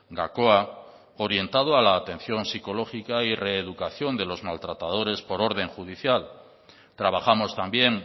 gakoa orientado a la atención psicológica y reeducación de los maltratadores por orden judicial trabajamos también